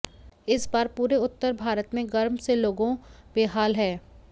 इस बार पूरे उत्तर भारत में गर्म से लोगों बेहाल हैं